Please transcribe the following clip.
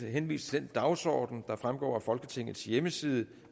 henviser til den dagsorden der fremgår af folketingets hjemmeside